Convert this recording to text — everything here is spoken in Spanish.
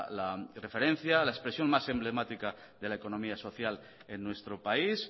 la referencia la expresión más emblemática de la economía social en nuestro país